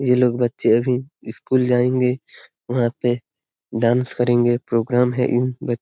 ये लोग बच्चे अभी स्कूल जाएंगे वहाँ पे डांस करेंगे वहाँ प्रोग्राम है इन ब --